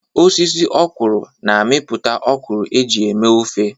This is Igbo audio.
Osisi ọ́kwụrụ̀ na-amịpụta ọ́kwụrụ̀ eji eme ofe.